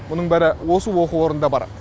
мұның бәрі осы оқу орында бар